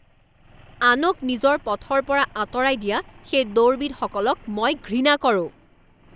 আনক নিজৰ পথৰ পৰা আঁতৰাই দিয়া সেই দৌৰবিদসকলক মই ঘৃণা কৰোঁ